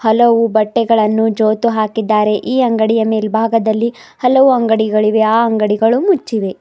ಹಲವು ಬಟ್ಟೆಗಳನ್ನು ಜೋತು ಹಾಕಿದ್ದಾರೆ ಈ ಅಂಗಡಿಯ ಮೆಲ್ಬಾಗದಲ್ಲಿ ಹಲವು ಅಂಗಡಿಗಳಿವೆ ಆ ಅಂಗಡಿಗಳು ಮುಚ್ಚಿವೆ.